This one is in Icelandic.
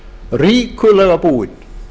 ríkulega búin